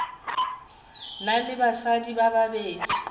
na le basadi ba babedi